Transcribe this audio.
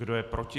Kdo je proti?